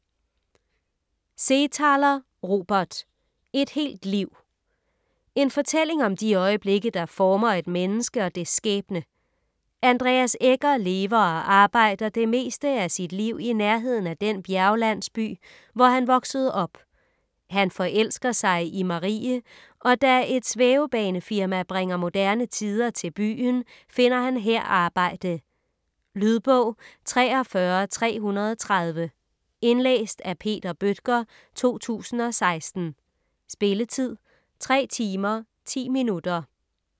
Seethaler, Robert: Et helt liv En fortælling om de øjeblikke, der former et menneske og dets skæbne. Andreas Egger lever og arbejder det meste af sit liv i nærheden af den bjerglandsby, hvor han voksede op. Han forelsker sig i Marie, og da et svævebanefirma bringer moderne tider til byen, finder han her arbejde. Lydbog 43330 Indlæst af Peter Bøttger, 2016. Spilletid: 3 timer, 10 minutter.